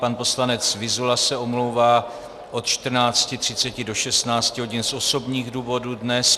Pan poslanec Vyzula se omlouvá od 14.30 do 16 hodin z osobních důvodů dnes.